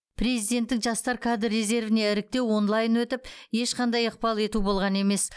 президенттік жастар кадр резервіне іріктеу онлайн өтіп ешқандай ықпал ету болған емес